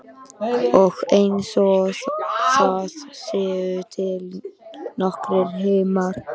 Og einsog það séu til nokkrir himnar.